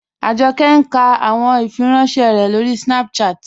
Ajọkẹ̀ n kà àwọn ìfìrànṣẹ̀ rẹ̀ lórí Snapchat.